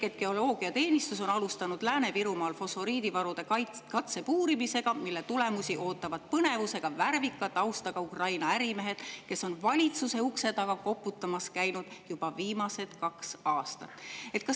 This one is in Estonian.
Geoloogiateenistus on alustanud Lääne-Virumaal fosforiidivarude katsepuurimist, mille tulemusi ootavad põnevusega värvika taustaga Ukraina ärimehed, kes on valitsuse ukse taga koputamas käinud juba viimased kaks aastat.